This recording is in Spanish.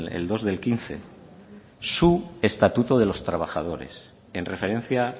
el dos del quince su estatuto de los trabajadores en referencia